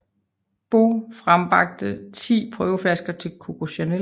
Beaux frembragte ti prøveflasker til Coco Chanel